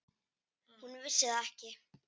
Hún vissi það ekki.